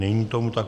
Není tomu tak.